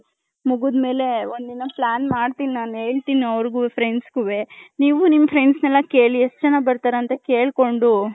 ಮುಗಿದಮೇಲೆ ಒಂದ್ ದಿನ plan ಮಾಡ್ತೀನಿ ನನ್ ಹೇಳ್ತೀನಿ friends ಗುವೇ.ನೀವು ನಿಮ್ಮ friends ನೆಲ್ಲ ಕೇಳಿ ಎಷ್ಟ್ ಜನ ಬರ್ತಾರೆ ಅಂತ ಕೇಳ್ಕೊಂಡು.